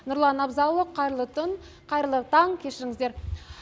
нұрлан абзалұлы қайырлы түн қайырлы таң кешіріңіздер